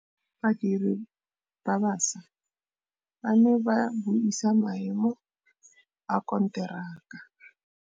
Badiri ba baša ba ne ba buisa maêmô a konteraka.